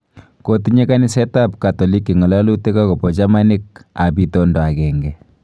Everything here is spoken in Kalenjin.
Kotinye kaniseet ab katoliki ngololuutik agobo chamaniik ab intondo ageng'e.